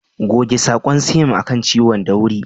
Goge sakon siam a kan ciwon da wuri.